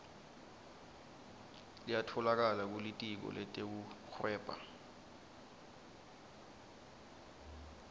liyatfolakala kulitiko letekuhweba